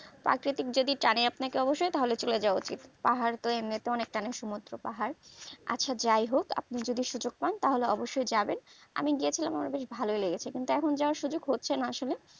প্রাকৃতিক যদি টানে আপনাকে তাহলে অবশই চলে যাওয়া উচিত পাহাড় তো এমনি তাই অনেক টানে সমুদ্র পাহাড় আচ্ছা যাইহোক আপনি যদি সুযোগ পান তাহলে অবশই যাবেন আমি গেছিলাম আমার বেশ ভালোই লেগেছে কিন্তু এখন যাওয়ার সুযোগ হচ্ছেনা